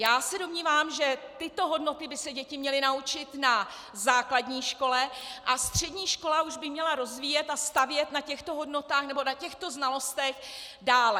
Já se domnívám, že tyto hodnoty by se děti měly naučit na základní škole a střední škola už by měla rozvíjet a stavět na těchto hodnotách nebo na těchto znalostech dále.